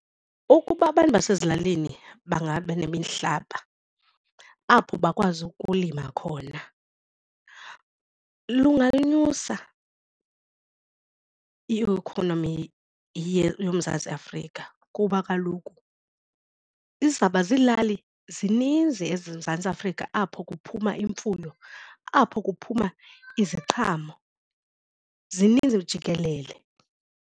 Ukuba abantu basezilalini bangaba nemihlaba apho bakwazi ukulima khona lungayinyusa i-economy yoMzantsi Afrika kuba kaloku izawuba ziilali zininzi eMzantsi Afrika apho kuphuma imfuyo, apho kuphuma iziqhamo zininzi jikelele.